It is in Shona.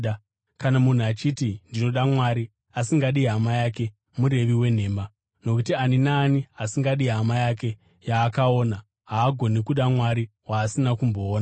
Kana munhu achiti, “Ndinoda Mwari,” asingadi hama yake, murevi wenhema. Nokuti ani naani asingadi hama yake yaakaona, haagoni kuda Mwari, waasina kumboona.